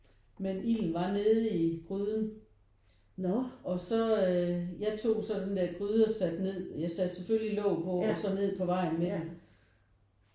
Men ilden var nede i gryden og så øh jeg tog så den der gryde og satte ned jeg satte selvfølgelig låg på og så ned på vejen med den